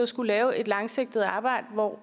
skulle lave et langsigtet arbejde hvor